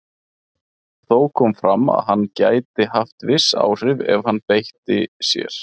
Þó kom fram að hann gæti haft viss áhrif ef hann beitti sér.